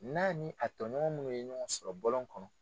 N'a ni a tɔ ɲɔgɔn munnu ye ɲɔgɔn sɔrɔ bɔlɔn kɔnɔ.